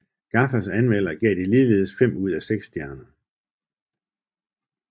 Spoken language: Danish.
Gaffas anmelder gav det ligeledes fem ud af seks stjerner